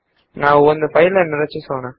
ಈಗ ನಾವು ಒಂದು ಫೈಲ್ ನ್ನು ರಚಿಸೋಣ